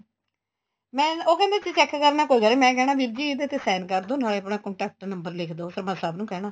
ਮੈਂ ਉਹ ਕਹਿੰਦੇ ਤੁਸੀ check ਕਰਨਾ ਮੈਂ ਕਹਿਣਾ ਵੀਰ ਜੀ ਇਦੇ ਤੇ sign ਕਰਦੋ ਨਾਲੇ ਆਪਣਾ contact number ਲਿੱਖ ਦੋ ਫੇਰ ਮੈਂ ਸਭ ਨੂੰ ਕਹਿਣਾ